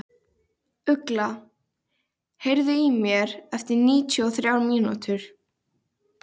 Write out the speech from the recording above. Björghildur, hringdu í Freymund eftir sjötíu mínútur.